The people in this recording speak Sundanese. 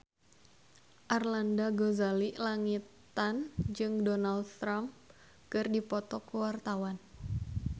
Arlanda Ghazali Langitan jeung Donald Trump keur dipoto ku wartawan